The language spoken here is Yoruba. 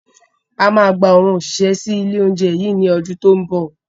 A máa gba àwọn òṣìṣẹ́ sì ilé oúnjẹ yí ni ọdún to ń bọ̀